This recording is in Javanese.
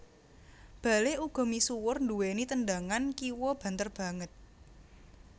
Bale uga misuwur duwèni tendangan kiwa banter banget